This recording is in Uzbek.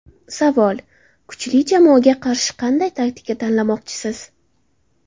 Savol: Kuchli jamoaga qarshi qanday taktika tanlamoqchisiz?